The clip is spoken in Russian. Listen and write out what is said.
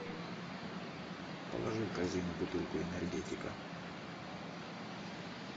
положи в корзину бутылку энергетика